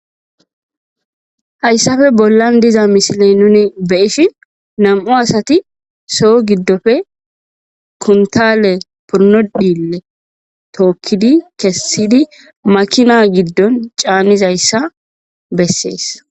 Hayssafe bollan diza misile nuni beyishi nam,u asati soo giddofe kuntale purnodile tookkidi kessidi makina giddon caanizayssa bessees.